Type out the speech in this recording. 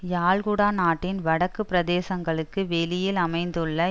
யாழ்குடா நாட்டின் வடக்கு பிரதேசங்களுக்கு வெளியில் அமைந்துள்ள